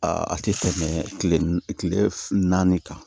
Aa a tɛ tɛmɛ kile naani kan